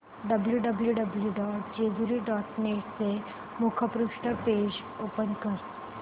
W W W dot Jejuri dot net चे मुखपृष्ठ page open कर